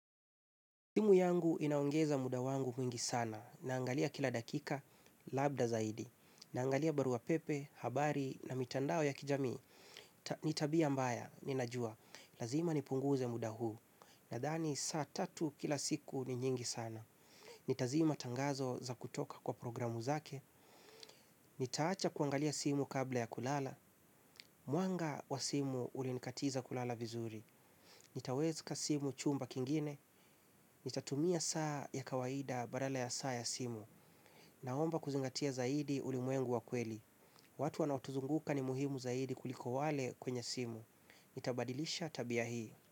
Simu yangu inaongeza muda wangu mwingi sana. Naangalia kila dakika, labda zaidi. Naangalia baruapepe, habari na mitandao ya kijami. Ni tabia mbaya, ninajua. Lazima nipunguze muda huu. Nadhani saa tatu kila siku ni nyingi sana. Nitazima tangazo za kutoka kwa programu zake. Nitaacha kuangalia simu kabla ya kulala. Mwanga wa simu ulinikatiza kulala vizuri. Nitaweka simu chumba kingine. Nitatumia saa ya kawaida badala ya saa ya simu. Naomba kuzingatia zaidi ulimwengu wa kweli. Watu wanaotuzunguka ni muhimu zaidi kuliko wale kwenye simu. Nitabadilisha tabia hii.